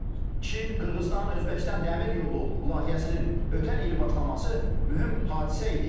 Çin, Qırğızıstan, Özbəkistan dəmir yolu layihəsinin ötən il başlaması mühüm hadisə idi.